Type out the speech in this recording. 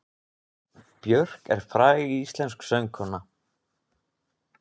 Björk er fræg íslensk söngkona.